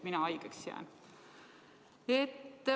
Mina haigeks ei jää.